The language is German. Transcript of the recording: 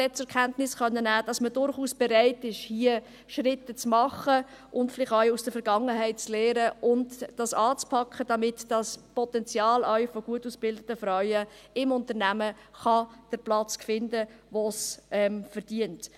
Ich konnte zur Kenntnis nehmen, dass man durchaus bereit ist, Schritte zu machen und vielleicht auch aus der Vergangenheit zu lernen und dies anzupacken, damit dieses Potenzial auch von gut ausgebildeten Frauen im Unternehmen den Platz findet, den es verdient.